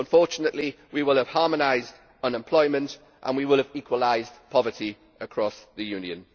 Unfortunately we will have harmonised unemployment and we will have equalised poverty across the Union.